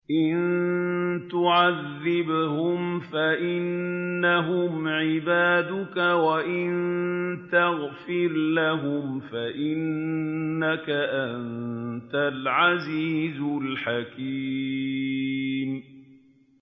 إِن تُعَذِّبْهُمْ فَإِنَّهُمْ عِبَادُكَ ۖ وَإِن تَغْفِرْ لَهُمْ فَإِنَّكَ أَنتَ الْعَزِيزُ الْحَكِيمُ